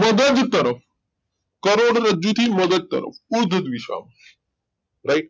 મગજ તરફ કરોડરજ્જુ થી મગજ તરફ ઉર્ધ્વ દિશા માં રાઈટ